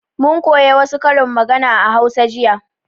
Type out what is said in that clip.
Mun koya wa su karin magana a hausa jiya